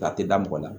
K'a tɛ da mɔgɔ la